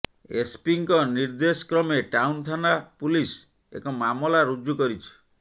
ଏସ୍ପିଙ୍କ ନିର୍ଦେଶକ୍ରମେ ଟାଉନ ଥାନା ପୁଲିସ୍ ଏକ ମାମଲା ରୁଜୁ କରିଛି